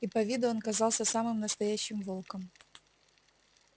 и по виду он казался самым настоящим волком